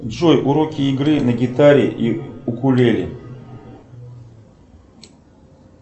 джой уроки игры на гитаре и укулеле